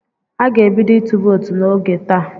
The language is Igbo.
A ga-ebido ịtụ vootu n'oge taa.